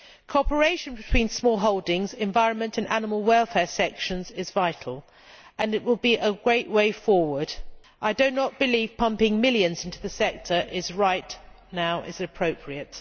Cooperation between smallholdings, environment and animal welfare sections is vital and it will be a great way forward. I do not believe pumping millions into the sector right now is appropriate.